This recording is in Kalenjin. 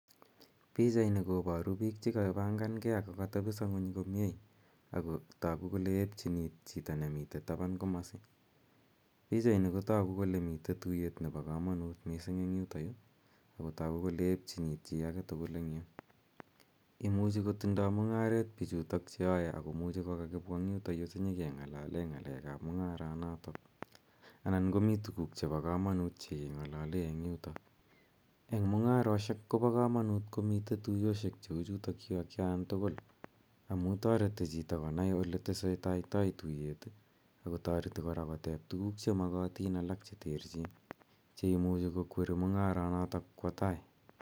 Pichaini koparu piik che kapanhangei ako katepisa ng'uny komye. Akontagu kole epchin iit chito nemitei tapan komasi. Pochaini kotaku kole mitei tuyet nepo kanut missing' eng' yutayu ako tagu kole epchin iit chi age tugul eng' yu. Imuchi kotindai mung'aret pichutok che yae ako kakipwa yutayu si nyi keng'alale ng'alek ap mung'aronatak. Anan komi tuguk chepo kamanut che keng'alale eng' yutok. Eng' mung'aroshek ko pa kamanut komi tuyoshek cheu chutachu atkan tugul amu tareti chito konai ole tesetaitai tuyot ako tareti kora kotep tuguk che makatin alak che terchin che imuchi kokweri mung'aronatak kowa tai.